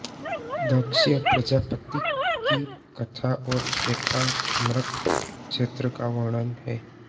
दक्ष प्रजाप्ति की कथा और एकाम्रक क्षेत्र का वर्णन है